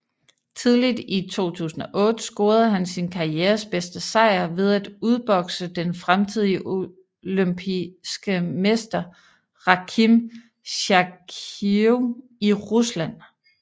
Tidligt i 2008 scorede han sin karrieres bedste sejr ved at udbokse den fremtidige olympiske mester Rakhim Chakhiyev i Rusland